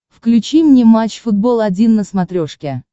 включи мне матч футбол один на смотрешке